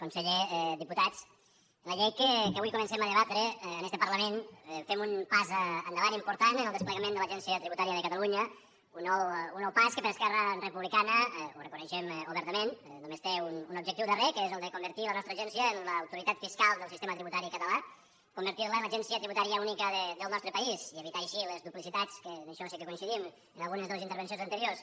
conseller diputats amb la llei que avui comencem a debatre en este parlament fem un pas endavant important en el desplegament de l’agència tributària de catalunya un nou pas que per esquerra republicana ho reconeixem obertament només té un objectiu darrer que és el de convertir la nostra agència en l’autoritat fiscal del sistema tributari català convertir la en l’agència tributària única del nostre país i evitar així les duplicitats que en això sí que coincidim amb algunes de les intervencions anteriors